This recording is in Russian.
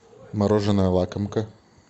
мороженое лакомка